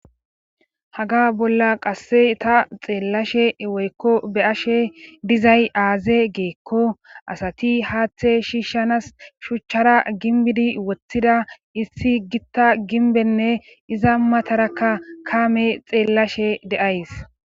haga bolla qasse ta xeellashe woykko be ashe dizay aaze geekko asati haaththe shiishanas shuchchara ginbidi woththida issi gitta ginbenne iza matarakka kaame xeellashe deays